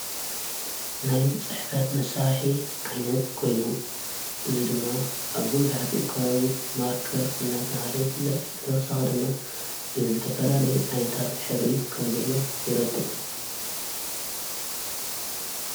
ናይ ጻሒፈት መሣርሒ ዓይነት ኾይኑ እዝ ድማ ኣሞ ዙኃት ወከ ማርከር እናታብሃለ ይፍለጥ ብታውሳኸ ድማ ብ ዘተፈላለይ ዓይነታት ኅድሪ ከም ዘለዉ ይረድእ።